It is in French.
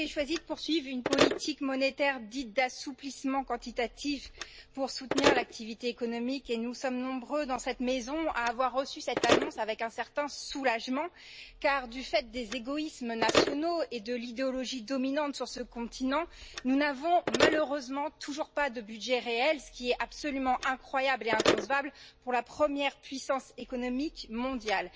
Vous avez choisi, Madame, de poursuivre une politique monétaire dite d'assouplissement quantitatif pour soutenir l'activité économique, et nous sommes nombreux dans cette maison à avoir reçu cette annonce avec un certain soulagement car, du fait des égoïsmes nationaux et de l'idéologie dominante sur ce continent, nous n'avons malheureusement toujours pas de budget réel, ce qui est absolument incroyable et inconcevable pour la première puissance économique mondiale.